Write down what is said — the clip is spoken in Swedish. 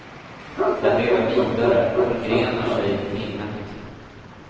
Den lever vidare, förgrenar sig i minnet.